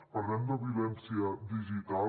parlem de violència digital